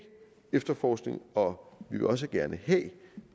efterforskningen og vi vil også gerne have